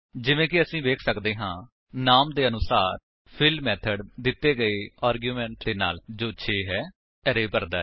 ਜਿਵੇ ਕਿ ਅਸੀ ਵੇਖ ਸੱਕਦੇ ਹਾਂ ਨਾਮ ਦੇ ਅਨੁਸਾਰ ਫਿੱਲ ਮੇਥਡ ਦਿੱਤੇ ਗਏ ਆਰਗੁਮੇਂਟ ਦੇ ਨਾਲ ਜੋ 6 ਹੈ ਅਰੇ ਭਰਦਾ ਹੈ